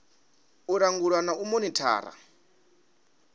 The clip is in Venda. u langula na u monithara